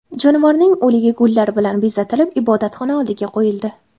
Jonivorning o‘ligi gullar bilan bezatilib ibodatxona oldiga qo‘yildi.